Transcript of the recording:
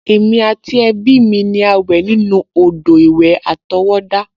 Èmi àti ẹbí mi ni a wẹ̀ nínú odò-ìwẹ̀ àtọwọ́dá